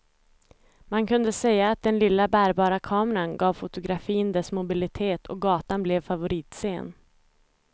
Man kunde säga att den lilla, bärbara kameran gav fotografin dess mobilitet och gatan blev favoritscen.